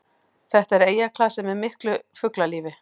Þetta er eyjaklasi með miklu fuglalífi